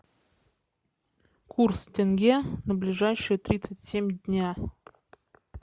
курс тенге на ближайшие тридцать семь дня